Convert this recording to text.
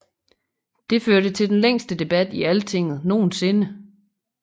Det førte til den længste debat i Alltinget nogensinde